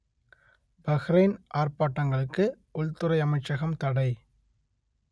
Bahrain ஆர்ப்பாட்டங்களுக்கு உள்துறை அமைச்சகம் தடை